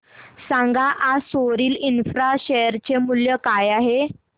सांगा आज Soril infra share चे मूल्य काय आहे